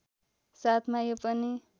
साथमा यो पनि